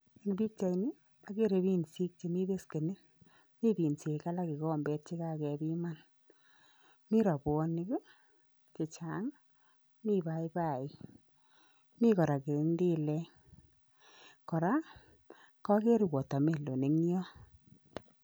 Eng' pikchait ni ageere binsik chemi beskeniit, mi biinsik alak kikombeet chekagepiiman, mi rabwonik chechaang', mi paipai, mi kora kerendilek, kora kageere watermelon ing' yo